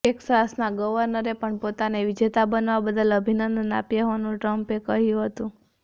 ટેક્સાસના ગવર્નરે પણ પોતાને વિજેતા બનવા બદલ અભિનંદન આપ્યા હોવાનું ટ્રમ્પે કહ્યું હતું